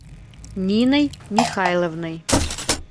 ниной михайловной